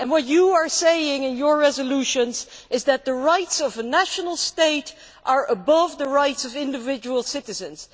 What you are saying in your resolutions is that the rights of a national state are above the rights of individual citizens.